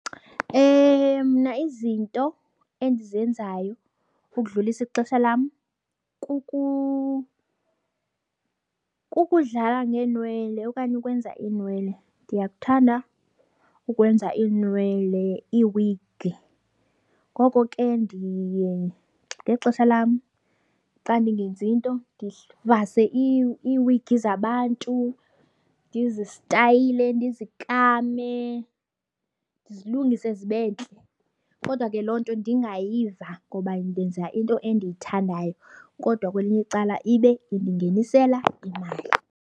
Mna izinto endizenzayo ukudlulisa ixesha lam kukudlala ngeenwele okanye ukwenza iinwele. Ndiyakuthanda ukwenza iinwele, iiwigi. Ngoko ke ndiye ngexesha lam xa ndingenzi nto, ndivase iwigi zabantu, ndizistayile, ndizikame, ndizilungise zibe ntle. Kodwa ke loo nto ndingayiva ngoba ndenza into endiyithandayo kodwa kwelinye icala ibe indingenisela imali.